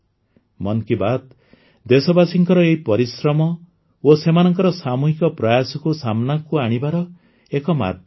ମନ୍ କି ବାତ୍ ଦେଶବାସୀଙ୍କର ଏହି ପରିଶ୍ରମ ଓ ସେମାନଙ୍କ ସାମୂହିକ ପ୍ରୟାସକୁ ସାମନାକୁ ଆଣିବାର ଏକ ମାଧ୍ୟମ ମାତ୍ର